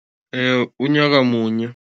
Unyaka munye.